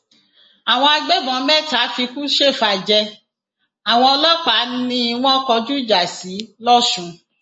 àwọn agbébọn mẹta fikú ṣèfàjẹ àwọn ọlọpàá ni wọn kọjú ìjà sí lọsùn